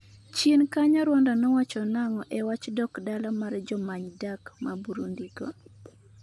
chien kanyo Rwanda nowacho nang'o e wach dok dala mar jomany dak ma Burundi go?